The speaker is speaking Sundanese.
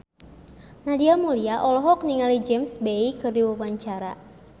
Nadia Mulya olohok ningali James Bay keur diwawancara